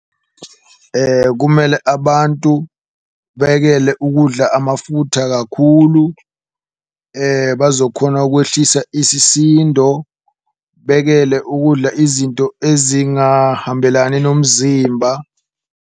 Kumele abantu beyekele ukudla amafutha kakhulu bazokhona ukwehlisa isisindo, bekele ukudla izinto ezingahambelani nomzimba.